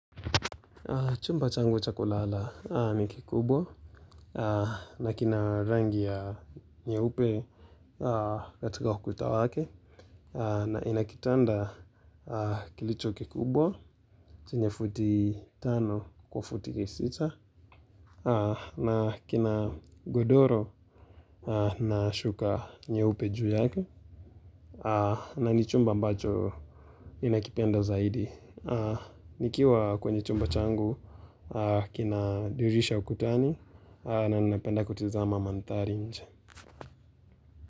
Chumba changu cha kulala ni kikubwa na kina rangi ya nyeupe katika ukuta wake na ina kitanda kilicho kikubwa chenye futi tano kwa futi sita na kina godoro na shuka nyeupe juu yake na ni chumba mbacho ninakipenda zaidi. Nikiwa kwenye chumba changu kina dirisha ukutani na napenda kutizama mandhari nje.